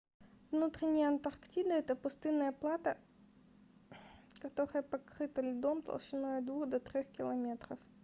внутренняя антарктида это пустынное плато которое покрыто льдом толщиной от 2 до 3 км